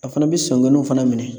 A fana bi fana minɛ